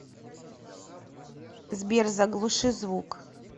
сбер заглуши звук